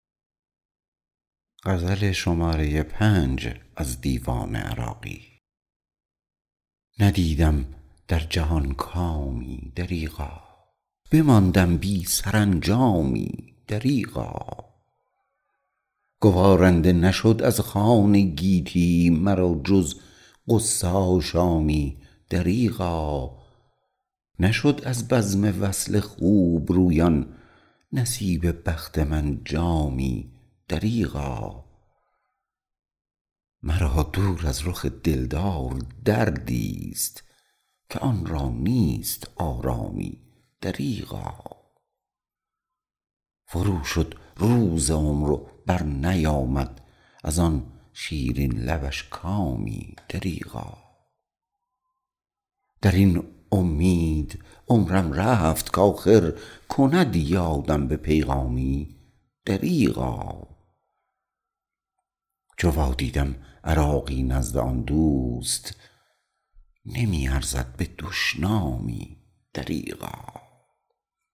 ندیدم در جهان کامی دریغا بماندم بی سرانجامی دریغا گوارنده نشد از خوان گیتی مرا جز غصه آشامی دریغا نشد از بزم وصل خوبرویان نصیب بخت من جامی دریغا مرا دور از رخ دلدار دردی است که آن را نیست آرامی دریغا فرو شد روز عمر و بر نیامد از آن شیرین لبش کامی دریغا درین امید عمرم رفت کاخر کند یادم به پیغامی دریغا چو وادیدم عراقی نزد آن دوست نمی ارزد به دشنامی دریغا